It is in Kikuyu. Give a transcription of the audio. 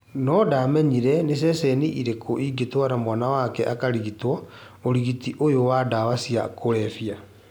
No ndamenyire nĩ cecheni ĩrĩkũ angĩtwara mwana wake akarigitwo ũhũthĩri ũyũ wa ndawa cia kũrebia